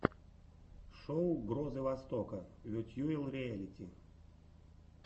шоу грозы востока ветьюэл риэлити